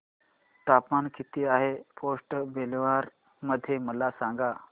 तापमान किती आहे पोर्ट ब्लेअर मध्ये मला सांगा